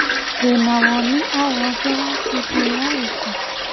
Wĩna woni o wothe wa bindiũ ya gĩko?